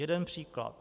Jeden příklad.